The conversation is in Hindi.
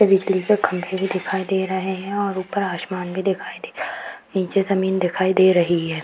और बिजली का खम्बे भी दिखाई दे रहें हैं और ऊपर आसमान भी दिखाई दे निचे जमीन दिखाई दे रही है।